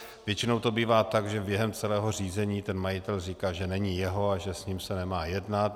Většinou to bývá tak, že během celého řízení ten majitel říká, že není jeho a že s ním se nemá jednat.